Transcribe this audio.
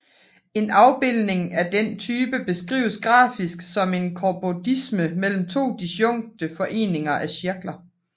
En afbildning af den type beskrives grafisk som en cobordisme mellem to disjunkte foreninger af cirkler